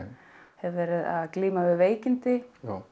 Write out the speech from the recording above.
hef verið að glíma við veikindi